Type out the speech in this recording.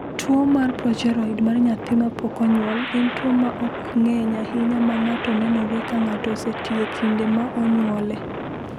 "Tuwo mar progeroid mar nyathi ma pok onyuol en tuwo ma ok ng’eny ahinya ma ng’ato nenore ka ng’ato oseti e kinde ma onyuole."